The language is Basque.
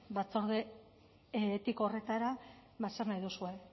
batzorde etiko horretara zer nahi duzue